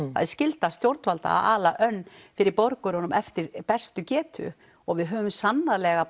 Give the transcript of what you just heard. er skylda stjórnvalda að ala önn fyrir borgurunum eftir bestu getu og við höfum sannarlega